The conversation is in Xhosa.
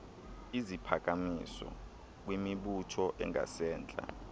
iziphakamiso kwimibutho engasentla